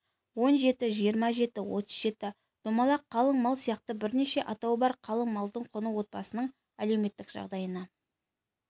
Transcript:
он жеті жиырма жеті отыз жеті домалақ қалың мал сияқты бірнеше атауы бар қалың малдың құны отбасының әлеуметтік жағдайына